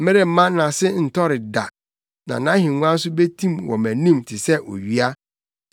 meremma nʼase ntɔre da na nʼahengua nso betim wɔ mʼanim te sɛ owia;